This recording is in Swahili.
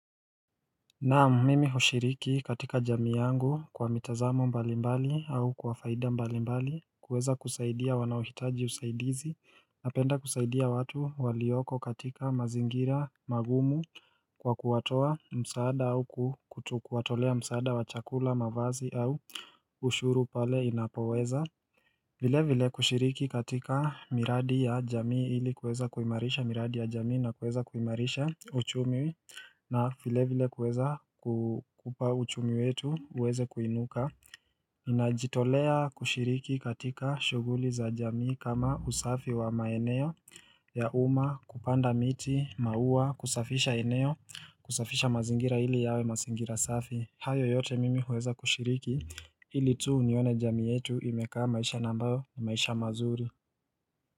Naam mimi hushiriki katika jamii yangu kwa mitazamo mbalimbali au kwa faida mbalimbali kuweza kusaidia wanaohitaji usaidizi napenda kusaidia watu walioko katika mazingira magumu kwa kuwatoa msaada au kutu kuwatolea msaada wa chakula mavazi au ushuru pale inapoweza vile vile kushiriki katika miradi ya jamii ili kuweza kuimarisha miradi ya jamii na kuweza kuimarisha uchumi na vile vile kuweza kupaa uchumi wetu uweze kuinuka ninajitolea kushiriki katika shughuli za jamii kama usafi wa maeneo ya umma, kupanda miti, maua, kusafisha eneo, kusafisha mazingira ili yawe mazingira safi. Hayo yote mimi huweza kushiriki ili tu nione jamii yetu imekaa maisha na ambayo ni maisha mazuri.